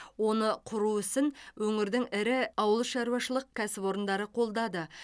оны құру ісін өңірдің ірі ауылшаруашылық кәсіпорындары қолдады